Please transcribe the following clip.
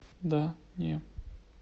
да не